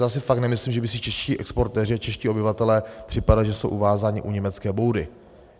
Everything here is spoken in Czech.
Já si fakt nemyslím, že by si čeští exportéři, čeští obyvatelé připadali, že jsou uvázáni u německé boudy.